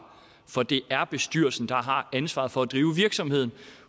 for det er bestyrelsen der har ansvaret for at drive virksomheden